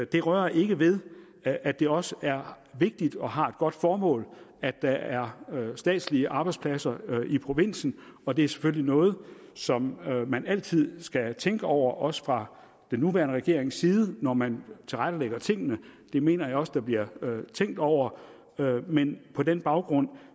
det rører ikke ved at det også er vigtigt og har et godt formål at der er statslige arbejdspladser i provinsen og det er selvfølgelig noget som man altid skal tænke over også fra den nuværende regerings side når man tilrettelægger tingene det mener jeg også der bliver tænkt over men på den baggrund